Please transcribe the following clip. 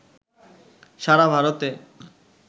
সারা ভারতে